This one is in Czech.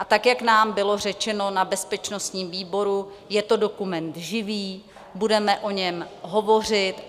A tak jak nám bylo řečeno na bezpečnostním výboru, je to dokument živý, budeme o něm hovořit.